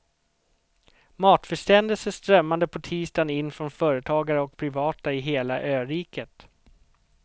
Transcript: Matförsändelser strömmade på tisdagen in från företagare och privata i hela öriket.